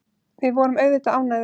Við vorum auðvitað ánægðir.